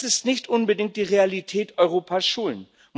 Das ist nicht unbedingt die Realität an Europas Schulen.